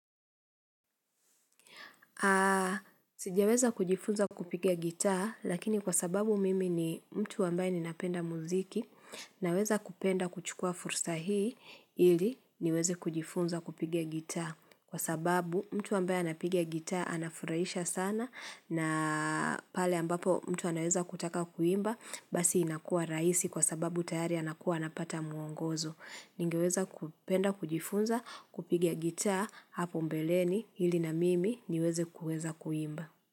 Sijaweza kujifunza kupiga gita, lakini kwa sababu mimi ni mtu ambaye ninapenda muziki, naweza kupenda kuchukua fursa hii, ili niweze kujifunza kupiga gitaa. Kwa sababu, mtu ambaye anapiga gitaa, anafurahisha sana, na pale ambapo mtu anaeza kutaka kuimba, basi inakuwa rahisi kwa sababu tayari anakuwa anapata muongozo. Ningeweza kupenda kujifunza kupiga gita hapo mbeleni ili na mimi niweze kueza kuimba.